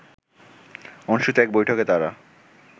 অনুষ্ঠিত এক বৈঠকে তারা